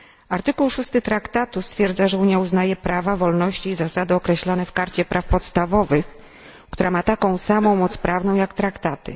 Artykuł 6 Traktatu stwierdza, że Unia uznaje prawa, wolności i zasady określone w Karcie Praw Podstawowych, która ma taką samą moc prawną jak traktaty.